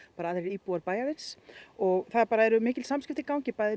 aðrir íbúar bæjarins og það eru mikil samskipti í gangi bæði